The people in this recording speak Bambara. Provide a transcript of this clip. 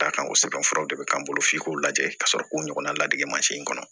D'a kan o sɛbɛn furaw de bɛ k'an bolo f'i k'o lajɛ ka sɔrɔ k'o ɲɔgɔnna ladege in kɔnɔ